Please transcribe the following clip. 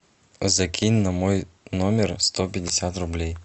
закинь на мой номер сто пятьдесят рублей